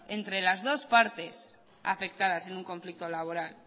entre las dos partes afectadas en un conflicto laboral